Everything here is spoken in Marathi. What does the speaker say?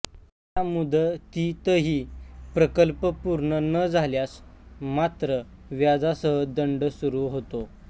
त्या मुदतीतही प्रकल्प पूर्ण न झाल्यास मात्र व्याजासह दंड सुरू होतो